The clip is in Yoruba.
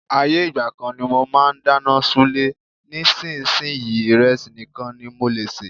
Ayé ìgbà kan ni mo máa ń dáná ṣúlẹ̀, nísinsìnyí, ìrẹsì nìkan ní mo lè sè.